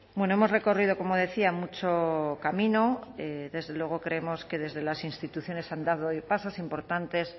bueno hemos recorrido como decía mucho camino desde luego creemos que desde las instituciones han dado pasos importantes